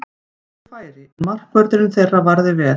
Við fengum góð færi, en markvörðurinn þeirra varði vel.